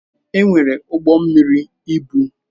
Enwere ụgbọ mmiri ibu.